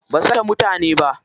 Basu kashe mutane ba.